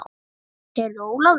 Heyrðu Ólafur.